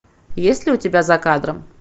есть ли у тебя за кадром